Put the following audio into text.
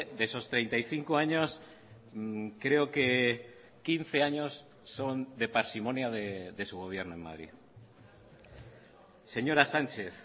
de esos treinta y cinco años creo que quince años son de parsimonia de su gobierno en madrid señora sánchez